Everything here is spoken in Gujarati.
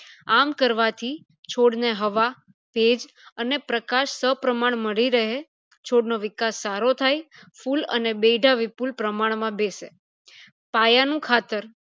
આમ કરવાથી છોડ ને હવા ભેજ અને પ્રકાશ સહ પ્રમાણ મળી રહે છોડ નો વિકાસ સારો થાય ફૂલ અને બેઈધા વિપુલ પ્રમાણ માં બેસે પાયા નું ખાતર